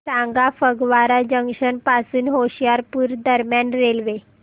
सांगा फगवारा जंक्शन पासून होशियारपुर दरम्यान रेल्वे